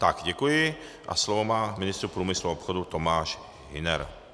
Tak děkuji a slovo má ministr průmyslu a obchodu Tomáš Hüner.